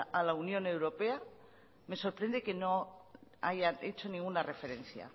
a la unión europea me sorprende que no haya hecho ninguna referencia